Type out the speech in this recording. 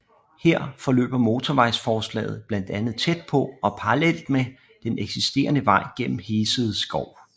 Her forløber motorvejsforslaget blandt andet tæt på og parallelt med den eksisterede vej gennem Hesede Skov